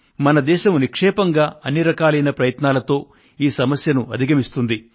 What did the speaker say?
మన దేశం నిక్షేపంగా అన్ని రకాలైన ప్రయత్నాలతో ఈ సమస్యను అధిగమిస్తుంది